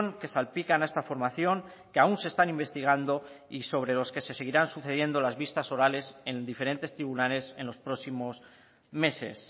que salpican a esta formación que aún se están investigando y sobre los que se seguirán sucediendo las vistas orales en diferentes tribunales en los próximos meses